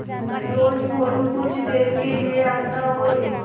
रोज़ मोरू कुछ देर के लिये आता और